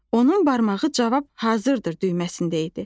Onun barmağı cavab hazırdır düyməsində idi.